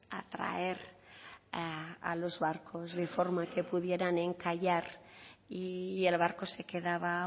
atraer a los barcos de forma que pudieran encallar y el barco se quedaba